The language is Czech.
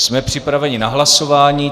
Jsme připraveni na hlasování.